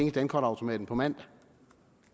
i dankortautomaten på mandag